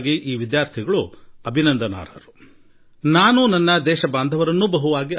ಈ ಎಲ್ಲಾ ವಿದ್ಯಾರ್ಥಿಗಳು ಹೃದಯಾಂತರಾಳದ ಅಭಿನಂದನೆಗೆ ಅರ್ಹರಾಗಿದ್ದಾರೆ